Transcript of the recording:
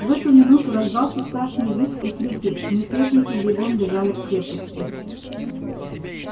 в эту минуту раздался страшный визг и крики мятежники бегом бежали к крепости